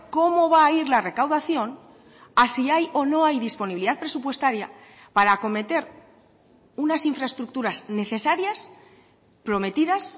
cómo va a ir la recaudación a si hay o no hay disponibilidad presupuestaria para acometer unas infraestructuras necesarias prometidas